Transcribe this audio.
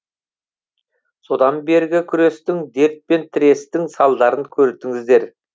содан бергі күрестің дертпен тірестің салдарын көрдіңіздер